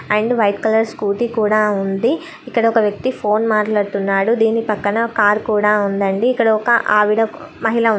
And white colour scooty కూడా ఉంది. ఇక్కడొక వ్యక్తి ఫోన్ మాట్లాడు తున్నాడు. దీని పక్కన కారు కూడా ఉందండి. ఇక్కడ ఒక ఆవిడ మహిళ ఉంది.